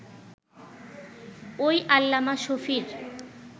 ওই আল্লামা শফীর